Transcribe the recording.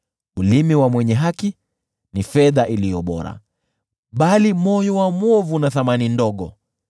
Ulimi wa mwenye haki ni fedha iliyo bora, bali moyo wa mwovu una thamani ndogo.